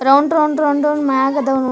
round round round ಮೆಲ್ ಆದವು --